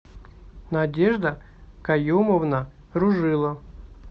надежда каюмовна ружило